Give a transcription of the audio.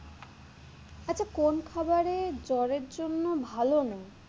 আচ্ছা কোন খাবার জ্বরের জন্য ভালো নয়?